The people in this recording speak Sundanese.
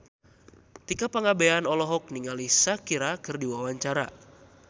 Tika Pangabean olohok ningali Shakira keur diwawancara